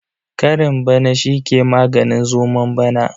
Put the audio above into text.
Karen bana shi ke maganin zomon bana.